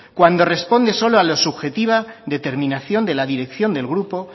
cuando responde solo a la subjetiva determinación de la dirección del grupo